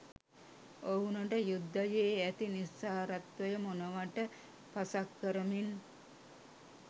ඔවුනට යුද්ධයේ ඇති නිස්සාරත්වය මොනවට පසක් කරමින්